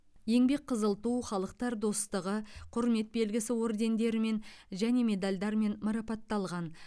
еңбек қызыл ту халықтар достығы құрмет белгісі ордендерімен және медальдармен марапатталған